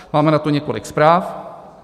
Máme na to několik zpráv.